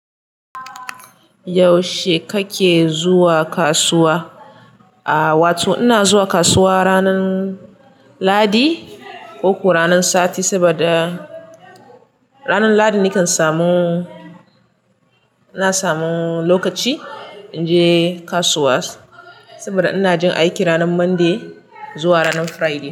Yaushe kake zuwa kasuwa? Aaa wato ina zuwa kasuwa ranan Lahadi ko ko ranan Sati saboda ranan Lahadi nakan samu, ina samu lokaci inje kasuwa saboda ina jin aiki ranan Monday zuwa ranan Friday.